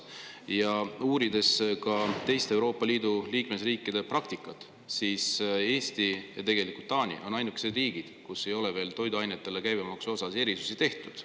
Ja kui uurida teiste Euroopa Liidu liikmesriikide praktikat, siis Eesti ja Taani on ainukesed riigid, kus ei ole veel toiduainete käibemaksu puhul erisusi tehtud.